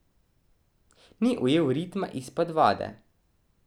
Ni ujel ritma izpod vode.